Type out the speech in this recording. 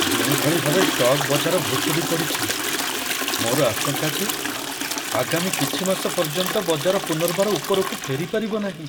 ଯେଉଁଭଳି ଭାବେ ଷ୍ଟକ୍ ବଜାର ଭୁଶୁଡ଼ି ପଡ଼ିଛି, ମୋର ଆଶଙ୍କା ଯେ ଆଗାମୀ କିଛି ମାସ ପର୍ଯ୍ୟନ୍ତ ବଜାର ପୁନର୍ବାର ଉପରକୁ ଫେରିପାରିବ ନାହିଁ।